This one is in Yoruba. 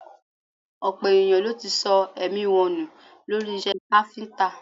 Ọ̀pọ̀ ènìyàn ló ti sọ èmí wọn nù lórí iṣẹ́ káfíńtà